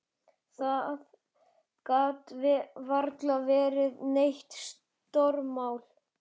Það gat varla verið neitt stórmál.